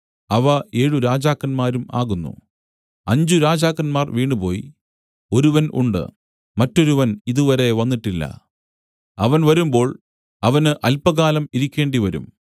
അവ ഏഴ് രാജാക്കന്മാരും ആകുന്നു അഞ്ചുരാജാക്കന്മാർ വീണുപോയി ഒരുവൻ ഉണ്ട് മറ്റൊരുവൻ ഇതുവരെ വന്നിട്ടില്ല അവൻ വരുമ്പോൾ അവന് അല്പകാലം ഇരിക്കേണ്ടിവരും